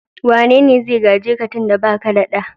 Wane ne zai gaje ka tun da ba ke da ɗa?